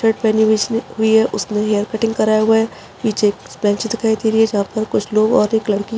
shirt पहनी हुई उसने हुई है उसने हेयर करवाया हुआ है पीछे कुछ बेंचे दिखाई दे रही है जहाँ पर कुछ लोग और एक लड़की--